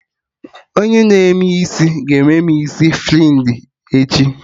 Onye na-eme isi ga-eme mụ isi frinji echi